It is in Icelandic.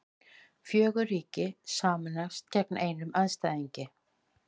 Fór að líða illa